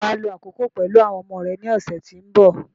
Ṣé wà á lo àkókò pẹ̀lú àwọn ọmọ rẹ ní ọ̀sẹ̀ tí ó ń bọ̀?